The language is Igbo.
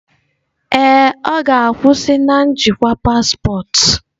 Ee, ọ ga-akwụsị na njikwa paspọtụ.